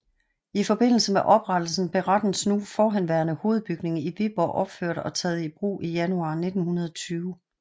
I forbindelse med oprettelsen blev rettens nu forhenværende hovedbygning i Viborg opført og taget i brug i januar 1920